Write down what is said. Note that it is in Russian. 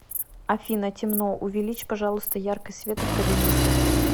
афина темно увеличь пожалуйста яркость света в кабинете